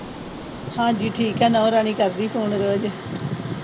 ਹਾਂਜੀ, ਨੂੰਹ ਰਾਣੀ ਠੀਕ ਆ। ਕਰਦੀ ਫੋਨ ਰੋਜ।